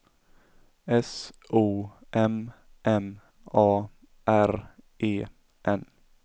S O M M A R E N